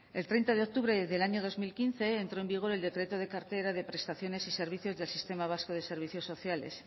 el treinta de octubre del año dos mil quince entró en vigor el decreto de cartera de prestaciones y servicios del sistema vasco de servicios sociales